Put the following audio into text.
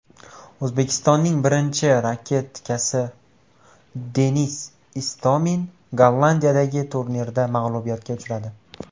O‘zbekistonning birinchi raketkasi Denis Istomin Gollandiyadagi turnirda mag‘lubiyatga uchradi.